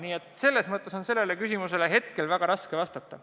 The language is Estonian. Nii et selles mõttes on sellele küsimusele väga raske vastata.